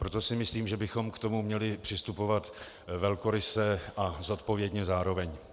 Proto si myslím, že bychom k tomu měli přistupovat velkoryse a zodpovědně zároveň.